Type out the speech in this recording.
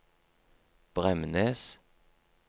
Bremnes